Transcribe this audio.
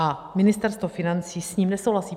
A Ministerstvo financí s ním nesouhlasí.